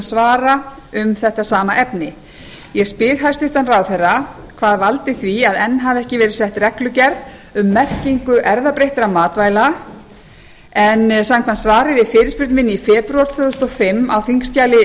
áðurfenginna svara um þetta sama efni ég spyr hæstvirtur ráðherra hvað valdi því að enn hefur ekki verið sett reglugerð um merkingu erfðabreyttra matvæla en samkvæmt svari við fyrirspurn minni í febrúar tvö þúsund og fimm á þingskjali